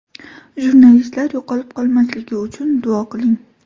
Jurnalistlar yo‘qolib qolmasligi uchun duo qiling.